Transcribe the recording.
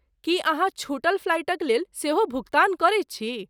की अहाँ छूटल फ्लाइटक लेल सेहो भुगतान करैत छी?